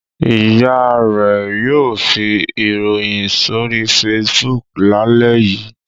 Ìyá rẹ̀ yóò fi ìròyìn sórí Facebook lálẹ́ yìí.